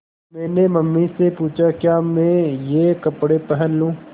मैंने मम्मी से पूछा क्या मैं ये कपड़े पहन लूँ